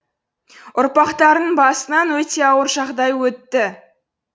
ұрпақтарының басынан өте ауыр жағдай өтті